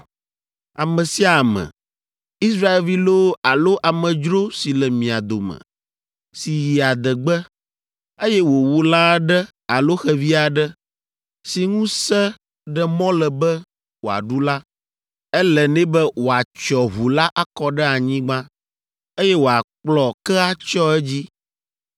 “ ‘Ame sia ame, Israelvi loo alo amedzro si le mia dome, si yi adegbe, eye wòwu lã aɖe alo xevi aɖe, si ŋu se ɖe mɔ le be woaɖu la, ele nɛ be wòatsyɔ ʋu la akɔ ɖe anyigba, eye wòakplɔ ke atsyɔ edzi,